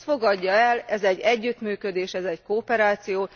Ezt fogadja el, ez egy együttműködés, ez egy kooperáció.